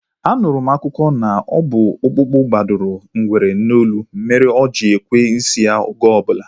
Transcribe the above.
A nụrụ m akụkọ na ọ bụ ọkpụkpu gbadoro ngwere n'olu mere o ji ekwe n'isi oge obula